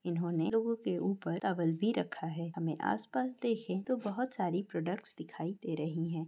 इन्होंने लोगों के ऊपर टॉवल भी रखा है हमें आसपास देखें तो बहुत सारी प्रोडक्ट्स दिखाई दे रही हैं।